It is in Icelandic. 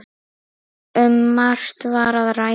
Um margt var að ræða.